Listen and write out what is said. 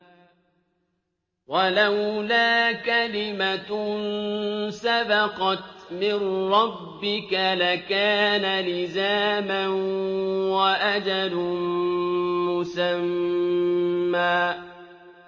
وَلَوْلَا كَلِمَةٌ سَبَقَتْ مِن رَّبِّكَ لَكَانَ لِزَامًا وَأَجَلٌ مُّسَمًّى